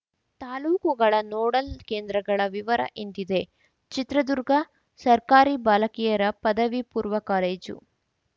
ತಾಲೂಕುಗಳ ನೋಡಲ್‌ ಕೇಂದ್ರಗಳ ವಿವರ ಇಂತಿದೆ ಚಿತ್ರದುರ್ಗ ಸರ್ಕಾರಿ ಬಾಲಕಿಯರ ಪದವಿ ಪೂರ್ವ ಕಾಲೇಜು